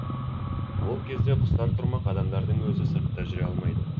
ол кезде құстар тұрмақ адамдардың өзі сыртта жүре алмайды